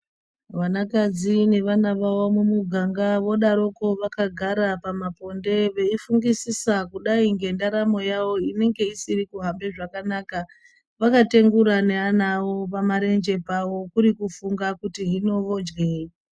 Vanakadzi nevana vavo mumuganga vodaroko vakagara pamaponde veifungisisa kudai ngendaramo yavo inenge isiri kuhamba zvakanaka. Vakatengura neana awo pamarenje pawo kuri kuri kufunga kuti hino vodyei.